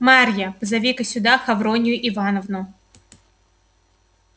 марья позови-ка сюда хавронью ивановну